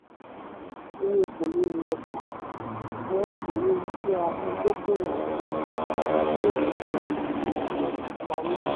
owó kòléwu ọjà: owó kòléwu tí a fi dókòwò sínú ìwé ìṣúra/ìtajà/ìsanwó.